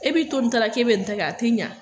E bɛ to ni ta la k'e bɛ nin ta kɛ.